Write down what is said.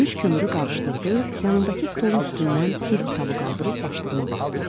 Sönmüş kömürü qarışdırdı, yanındakı stolun üstündən bir kitabı qaldırıb başlığına baxdı.